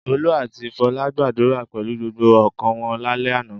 Olú àti Fọlá gbàdúrà pẹ̀lú gbogbo ọkàn wọn lálẹ́ àná.